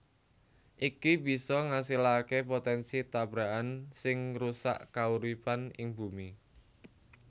Iki bisa ngasilaké potènsi tabrakan sing ngrusak kauripan ing Bumi